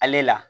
Ale la